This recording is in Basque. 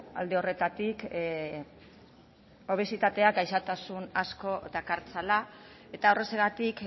alde horretatik obesitateak gaixotasun asko dakartzala eta horrexegatik